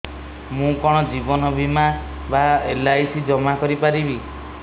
ମୁ କଣ ଜୀବନ ବୀମା ବା ଏଲ୍.ଆଇ.ସି ଜମା କରି ପାରିବି